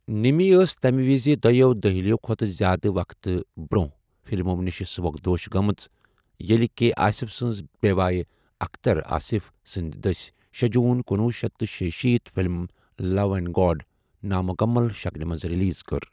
نِمی ٲس تمہِ وِزِ دۄٮ۪و دٔہِلِیو٘ كھوتہٕ زیادٕ وقتہٕ برونہٕیہ فلمَو نِشہِ سُبکدوش گٲمٕژ ییلہِ كے آصِف سٕنزِ بے٘وایہِ اختر آصِف سٕندِ دٕسہِ شےجوٗن کنۄہ شیتھ تہٕ شیشیٖتھ فلِم 'لو اینڈ گاڈ' نامُکَمَل شکلہِ منٛز ریلیز کٔر۔